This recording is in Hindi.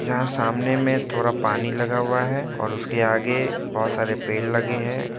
यहाँ सामने में थोड़ा पानी लगा हुआ है और उसके आगे बहोत सारे पेड़ लगे है।